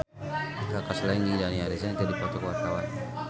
Kaka Slank jeung Dani Harrison keur dipoto ku wartawan